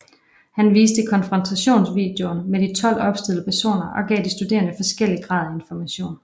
Han viste konfrontationsvideoen med de 12 opstillede personer og gav de studerende forskellig grad af information